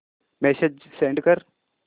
message send कर